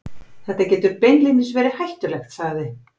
Þetta getur beinlínis verið hættulegt, sagði